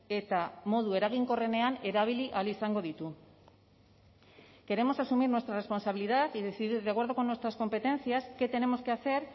eta modu eraginkorrenean erabili ahal izango ditu queremos asumir nuestra responsabilidad y decidir de acuerdo con nuestras competencias qué tenemos que hacer